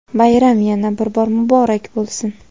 Bayram yana bir bor muborak bo‘lsin!.